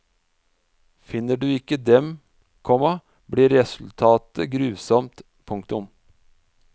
Finner du ikke den, komma blir resultatet grusomt. punktum